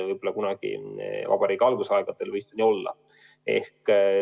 Võib-olla kunagi vabariigi algusaegadel võis see nii olla.